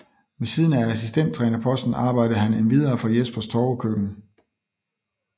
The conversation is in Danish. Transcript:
Ved siden af assistenttrænerposten arbejdede han endvidere for Jespers Torvekøkken